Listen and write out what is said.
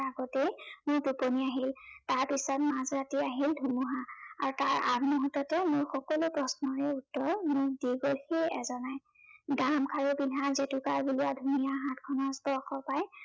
আগতেই মোৰ টোপনি আহিল। তাৰপিছত মাজৰাতি আহিল ধুমুহা। আৰু তাৰ আগমুহুৰ্ততে মোৰ সকলো প্ৰশ্নৰে উত্তৰ মোক দি গলহি এজনাই। গামখাৰু পিন্ধা, জেতুকাবুলীয়া ধুনীয়া হাতখনৰ স্পৰ্শ পাই